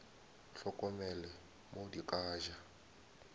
hlokomele mo di ka ja